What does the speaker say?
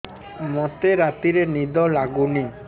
ମୋତେ ରାତିରେ ନିଦ ଲାଗୁନି